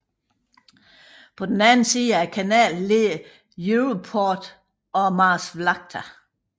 På den anden side af kanalen ligger Europoort og Maasvlakte